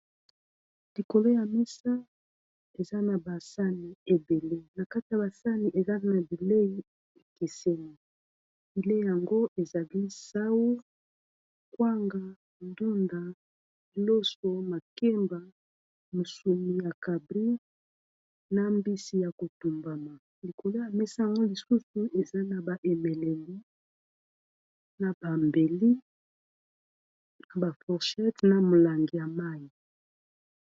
likolo ya mesa eza na basani ebele na kati ya basani eza na bilei ekeseni bilei yango ezali sau kwanga ndunda iloso makemba mosumi ya cabri na mbisi ya kotumbama likolo ya mesa yango lisusu eza na ba emeleli na bambeli na baforshete na molangi ya mai